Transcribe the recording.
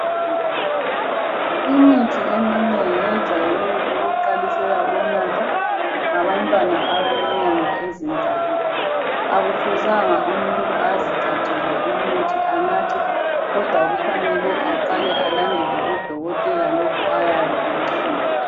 Imithi eminengi yejwayele ukuqalisela ukunathwa ngabantwana abalenyanga ezintathu, akufuzanga umuntu azithathele anathe kodwa kufanele aqale alandele uDokotela lokhu ayabe ekutshilo.